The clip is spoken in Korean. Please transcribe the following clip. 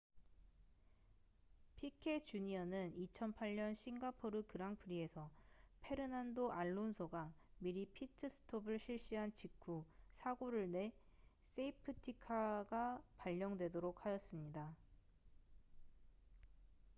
피케 주니어는 2008년 싱가포르 그랑프리에서 페르난도 알론소가 미리 피트스톱을 실시한 직후 사고를 내 세이프티카가 발령되도록 하였습니다